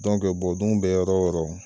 Dɔnkɛ bɔ dumini bɛ yɔrɔ o yɔrɔ.